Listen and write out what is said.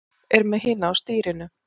Er með hina á stýrinu.